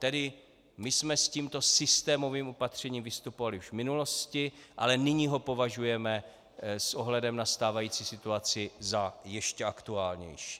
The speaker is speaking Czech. Tedy my jsme s tímto systémovým opatřením vystupovali už v minulosti, ale nyní ho považujeme s ohledem na stávající situaci za ještě aktuálnější.